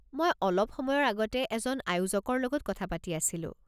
মই অলপ সময়ৰ আগতে এজন আয়োজকৰ লগত কথা পাতি আছিলোঁ।